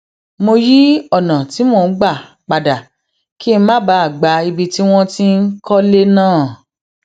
mo yí ònà tí mò ń gbà padà kí n má bàa gba ibi tí wọn ti n kọlé náà